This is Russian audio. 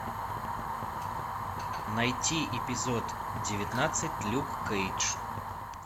найти эпизод девятнадцать люк кейдж